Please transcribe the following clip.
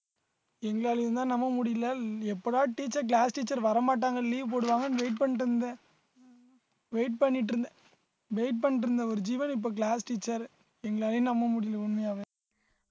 எங்களாலேயும் தான் நம்ப முடியல எப்படா teacher class teacher வரமாட்டாங்க leave போடுவாங்கன்னு wait பண்ணிட்டு இருந்தேன் wait பண்ணிட்டு இருந்தேன் wait பண்ணிட்டு இருந்த ஒரு ஜீவன் இப்ப class teacher எங்களாலேயும் நம்ப முடியலை உண்மையாவே